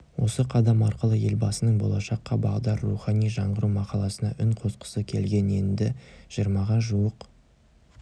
осы қадам арқылы елбасының болашаққа бағдар рухани жаңғыру мақаласына үн қосқысы келген енді жиырмаға жуық